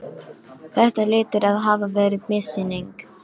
Þetta hlýtur að hafa verið missýning.